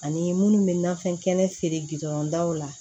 Ani minnu bɛ nafɛn kɛnɛ feere gudɔrɔn daw la